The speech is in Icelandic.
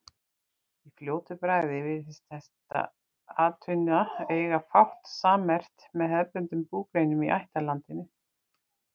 Í fljótu bragði virðist þessi atvinna eiga fátt sammerkt með hefðbundnum búgreinum í ættlandinu.